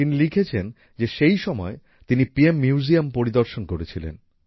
তিনি লিখেছেন যে সেই সময় তিনি পিএম মিউজিয়াম পরিদর্শন করেছিলেন